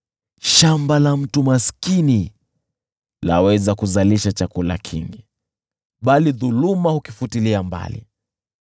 Shamba la mtu maskini laweza kuzalisha chakula kingi, bali dhuluma hukifutilia mbali.